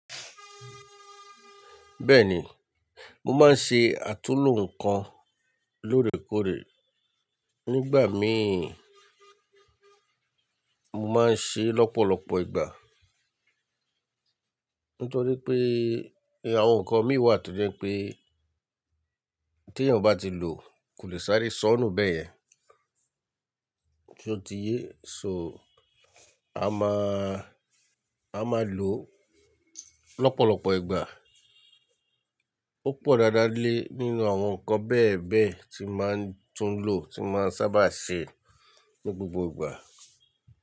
Bẹ́ẹ̀ni, mo máa ń ṣe àtúnlò ǹkan lóòrèkóòrè nígbà míì. Mo máa ń ṣe lọ́pọ̀lọpọ̀ ìgbà. Nítorí pé àwọn ǹkan mi wà tó jẹ́ pé tí èèyàn bá ti lò kò le sáré sọ́nù bẹ́yen. Ṣotiyé so a máa, a máa lò lọ́pọ̀lọpọ̀ ìgbà. Ó pọ̀ dáadáa lé nínú àwọn ǹkan bẹ́ẹ̀ bẹ́ẹ̀ tí máa tún lò tí máa sábà ṣe ní gbogbo ìgbà.